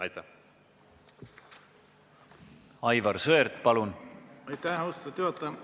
Aitäh, austatud juhataja!